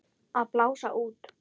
Að blása út.